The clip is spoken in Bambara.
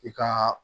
I ka